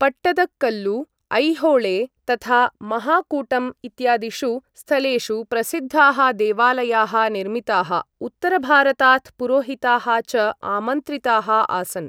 पट्टदकल्लु, ऐहोळे, तथा महाकूटम् इत्यादिषु स्थलेषु प्रसिद्धाः देवालयाः निर्मिताः, उत्तरभारतात् पुरोहिताः च आमन्त्रिताः आसन्।